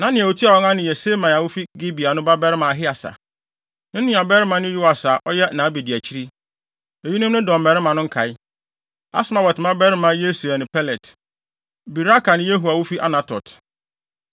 Na nea otua wɔn ano yɛ Semaia a ofi Gibea no babarima Ahieser. Na ne nuabarima ne Yoas a ɔyɛ nʼabediakyiri. Eyinom ne dɔmmarima no nkae: Asmawet mmabarima Yesiel ne Pelet; Beraka ne Yehu a wofi Anatot;